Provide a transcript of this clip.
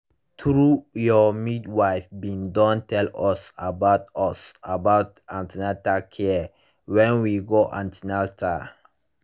trulyour midwife bin don tell us about us about an ten al care when we go an ten atal